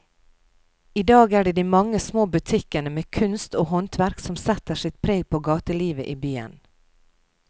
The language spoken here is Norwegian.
I dag er det de mange små butikkene med kunst og håndverk som setter sitt preg på gatelivet i byen.